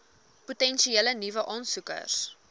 potensiële nuwe aansoekers